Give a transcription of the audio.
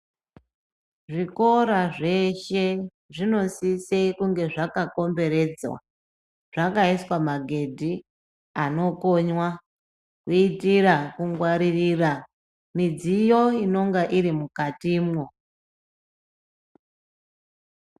Zvikora zveshe zvino sise kunge zvaka komberedzwa zvakaiswa magedhi anokonywa kuitira kungwaririra midziyo inonga iri mukati mwo.